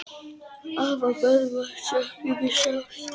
Afa Böðvars söknum við sárt.